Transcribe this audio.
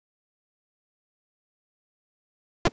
Þannig varstu.